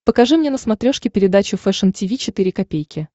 покажи мне на смотрешке передачу фэшн ти ви четыре ка